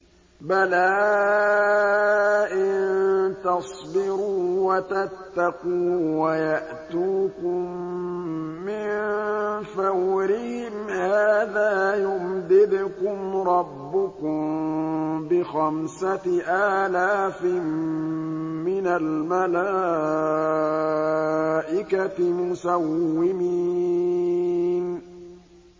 بَلَىٰ ۚ إِن تَصْبِرُوا وَتَتَّقُوا وَيَأْتُوكُم مِّن فَوْرِهِمْ هَٰذَا يُمْدِدْكُمْ رَبُّكُم بِخَمْسَةِ آلَافٍ مِّنَ الْمَلَائِكَةِ مُسَوِّمِينَ